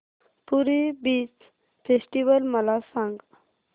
पुरी beach festival मला सांग